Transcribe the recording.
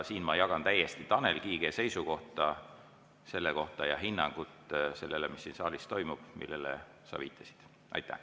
Siin ma jagan täiesti Tanel Kiige seisukohta selles suhtes ja hinnangut sellele, mis siin saalis toimub, millele sa viitasid.